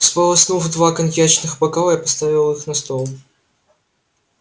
сполоснув два коньячных бокала я поставил их на стол